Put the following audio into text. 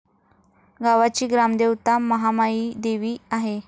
गावाची ग्रामदेवता महामाईदेवी आहे.